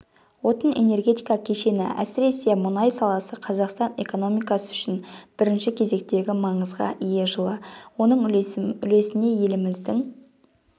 отын-энергетика кешені әсіресе мұнай саласы қазақстан экономикасы үшін бірінші кезектегі маңызға ие жылы оның үлесіне еліміздің